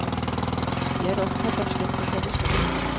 Jeg er opptatt av slekt og tradisjoner.